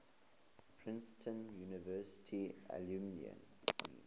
princeton university alumni